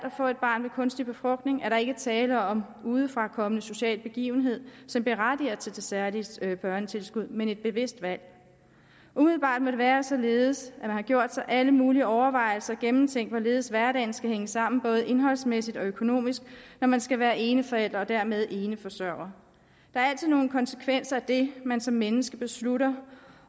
at få et barn ved kunstig befrugtning er der ikke tale om en udefrakommende social begivenhed som berettiger til det særlige børnetilskud men om et bevidst valg umiddelbart må det være således at man har gjort sig alle mulige overvejelser og gennemtænkt hvorledes hverdagen skal hænge sammen både indholdsmæssigt og økonomisk når man skal være eneforælder og dermed eneforsørger der er altid nogle konsekvenser af det man som menneske beslutter